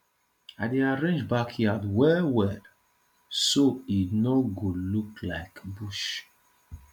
i dey arrange backyard well well so e no go look like bush